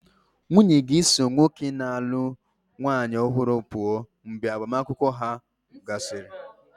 Nwunye ga-eso nwoke na-alụ nwanyị ọhụrụ pụọ mgbe agbamakwụkwọ ahụ gasịrị.